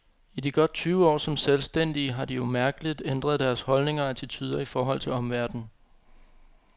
I de godt tyve år som selvstændige har de umærkeligt ændret deres holdninger og attituder i forhold til omverdenen.